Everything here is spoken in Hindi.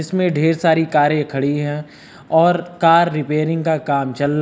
इसमें ढेर सारी कारें खड़ी हैं और कार रिपेयरिंग का काम चल--